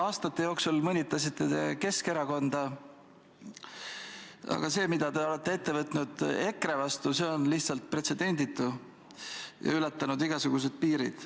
Aastate jooksul mõnitasite te Keskerakonda, aga see, mida te olete ette võtnud EKRE vastu, on lihtsalt pretsedenditu ja ületanud igasugused piirid.